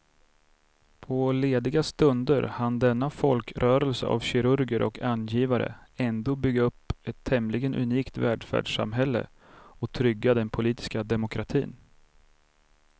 På lediga stunder hann denna folkrörelse av kirurger och angivare ändå bygga upp ett tämligen unikt välfärdssamhälle och trygga den politiska demokratin.